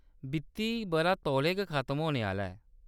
वित्ती बʼरा तौले गै खत्म होने आह्‌‌‌ला ऐ।